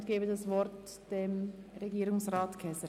Ich gebe das Wort Herrn Regierungsrat Käser.